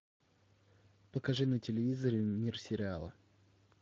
покажи на телевизоре мир сериала